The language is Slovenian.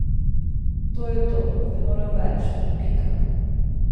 To je to, ne morem več, pika.